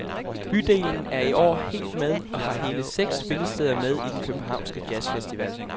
Bydelen er i år helt med og har hele seks spillesteder med i den københavnske jazzfestival.